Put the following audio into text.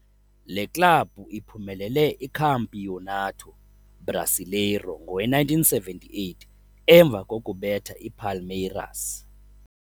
Le club uphumelele Campeonato Brasileiro ngowe - 1978, emva defeating Palmeiras.